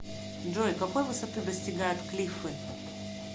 джой какой высоты достигают клиффы